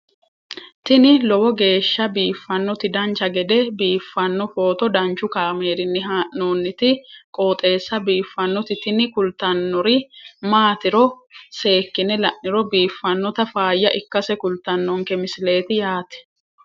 tini lowo geeshsha biiffannoti dancha gede biiffanno footo danchu kaameerinni haa'noonniti qooxeessa biiffannoti tini kultannori maatiro seekkine la'niro biiffannota faayya ikkase kultannoke misileeti yaate